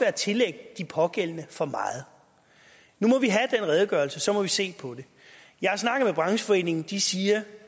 at tillægge de pågældende for meget nu må vi have den redegørelse og så må vi se på det jeg har snakket med brancheforeningen og de siger